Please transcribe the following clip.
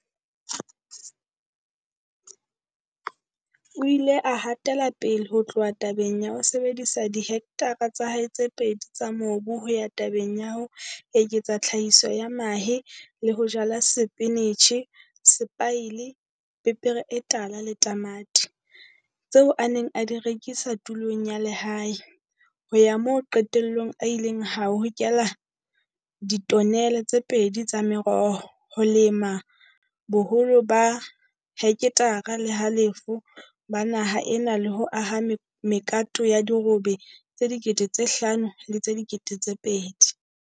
O ile a hatela pele ho tloha tabeng ya ho sebedisa dihe ktare tsa hae tse pedi tsa mobu ho ya tabeng ya ho eketsa tlhahiso ya mahe le ho jala sepinitjhe, sepaile, pepere e tala le tamati, tseo a neng a di rekisa tulong ya lehae, ho ya moo qetellong a ileng a hokela ditonele tse pedi tsa meroho, ho lema bo holo ba heketare le halofo ba naha ena le ho aha mekato ya dirobe tse 5 000 le tse 2 000.